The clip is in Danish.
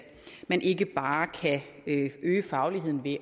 man ikke bare kan øge fagligheden ved